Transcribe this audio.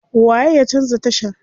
Waye ya canza tashar?